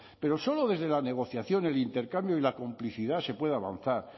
pero solo desde la negociación el intercambio y la complicidad se pueda avanzar